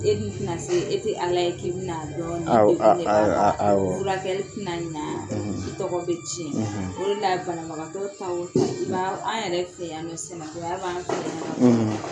E t'i na se e tɛ ala ye k' bɛ na dɔn; Awɔ; Awɔ; Furakɛli tɛ na ɲɛna; ; I tɔgɔ bɛ tiɲɛ; ; O de la banabagatɔ fan o fɛn an yɛrɛ fɛ yan nɔn